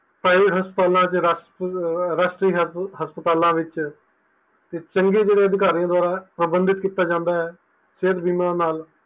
ਹਸਪਤਾਲਾਂ ਵਿੱਚ ਰਾਸ਼ਟਰੀ ਹਸਪਤਾਲਾਂ ਵਿੱਚ ਚੰਗੇ ਜਿਹੜੇ ਅਧਿਕਾਰੀਆਂ ਦੁਆਰਾ ਪਾਬੰਧਿਤ ਕੀਤਾ ਜਾਂਦਾ ਹੈ ਸਿਹਤ ਬੀਮਾ ਨਾਲ